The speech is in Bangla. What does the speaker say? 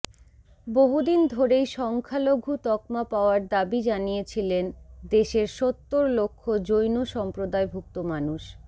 বহুদিন ধরেই সংখ্যালঘু তকমা পাওয়ার দাবি জানিয়েছিলেন দেশের সত্তর লক্ষ জৈন সম্প্রদায়ভুক্ত মানুষ